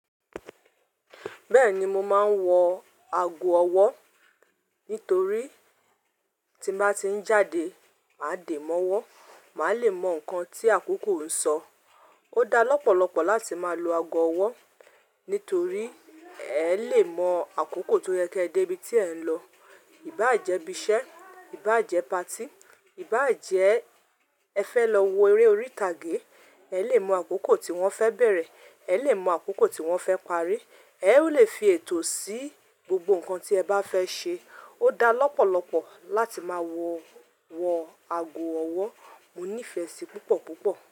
Bẹ́ẹ̀ni mo máa ń wọ ago ọwọ́, nítorí tí bá ti ń jáde, máa de mọ́wọ́, màá le mọ nǹkan tí àkókò ń sọ. Ó da lọ́pọ̀lọpọ̀ láti máa lo ago ọwọ́, nítorí ẹ lè mọ àkókò tó yẹ kí ẹ dé ibi tí ẹ̀ ń lọ. Ìbá ń jẹ́ ibi iṣẹ́, ìbá ń jẹ́ patí, ìbá ń jẹ́ ẹ fẹ́ lọ wo eré orí ìtàgé, ẹ lè mọ àkókò tí wọ́n fẹ́ bẹ̀rẹ̀, ẹ lè mọ àkókò tí wọ́n fẹ́ parí. Ẹ ó lè fi ètò sí gbogbo nǹkan tí ẹ bá fẹ́ ṣe. Ó da lọ́pọ̀lọpọ̀ láti máa wọ, wọ ago ọwọ́. Mo nífẹ̀ẹ́ sí púpọ̀ púpọ̀